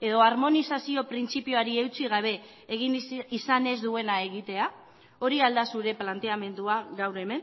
edo armonizazio printzipioari eutsi gabe egin izan ez duena egitea hori al da zure planteamendua gaur hemen